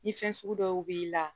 Ni fɛn sugu dɔw b'i la